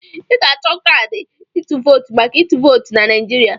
Ị ga-achọ kaadị ịtụ vootu maka ịtụ vootu na Naijiria.